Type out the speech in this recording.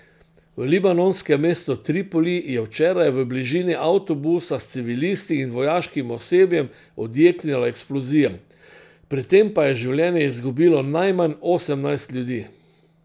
V libanonskem mestu Tripoli je včeraj v bližini avtobusa s civilisti in vojaškim osebjem odjeknila eksplozija, pri tem pa je življenje izgubilo najmanj osemnajst ljudi.